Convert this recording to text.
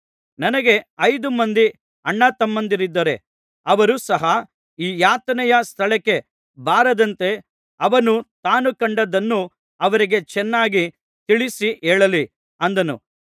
ನನಗೆ ಐದು ಮಂದಿ ಅಣ್ಣತಮ್ಮಂದಿರಿದ್ದಾರೆ ಅವರು ಸಹ ಈ ಯಾತನೆಯ ಸ್ಥಳಕ್ಕೆ ಬಾರದಂತೆ ಅವನು ತಾನು ಕಂಡದ್ದನ್ನು ಅವರಿಗೆ ಚೆನ್ನಾಗಿ ತಿಳಿಸಿ ಹೇಳಲಿ ಅಂದನು